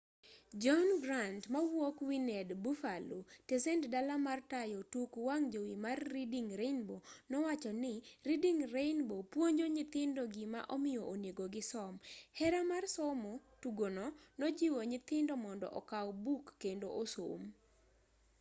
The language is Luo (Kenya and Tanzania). john grant mawuok wned buffalo tesend dala mar tayo tuk wang' jowi mar reading rainbow nowacho ni reading rainbow nopuonjo nyithindo gima omiyo onego gisom,. .. hera mar somo - [tugono] nojiwo nyithindo mondo okaw buk kendo osom.